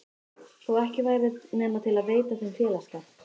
Þó ekki væri nema til að veita þeim félagsskap.